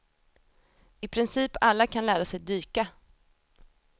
I princip alla kan lära sig dyka.